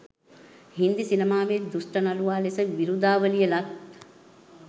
හින්දි සිනමාවේ දුෂ්ට නළුවා ලෙස විරුදාවලිය ලත්